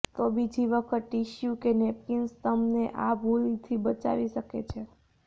તો બીજી વખત ટીશ્યુ કે નેપકીન્સ તમને આ ભૂલ થી બચાવી શકે છે